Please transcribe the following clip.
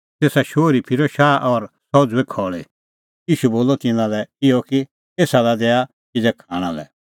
तेसा शोहरी फिरअ भी शाह और सह उझ़ुई खल़ी ईशू बोलअ तिन्नां लै इहअ कि एसा लै दैआ किज़ै खाणां लै